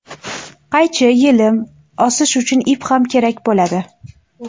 Qaychi, yelim, osish uchun ip ham kerak bo‘ladi.